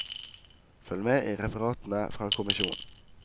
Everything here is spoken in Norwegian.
Følg med i referatene fra kommisjonen.